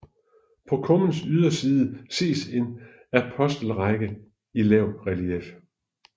På kummens yderside ses en apostelrække i lavt relief